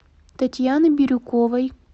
татьяны бирюковой